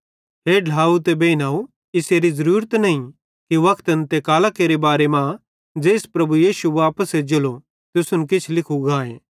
हे ढ्लाव ते बेइनव इसेरी ज़रूरत नईं कि वक्तन ते कालां केरे बारे ज़ेइस प्रभु यीशु वापस एज्जेलो तुसन किछ लिखू गाए